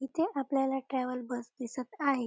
इथे आपल्याला travel bus दिसत आहे.